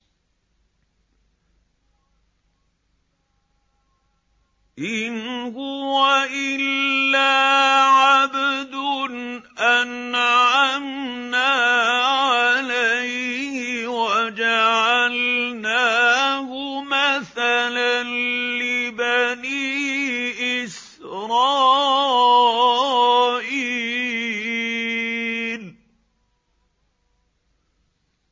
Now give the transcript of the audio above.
إِنْ هُوَ إِلَّا عَبْدٌ أَنْعَمْنَا عَلَيْهِ وَجَعَلْنَاهُ مَثَلًا لِّبَنِي إِسْرَائِيلَ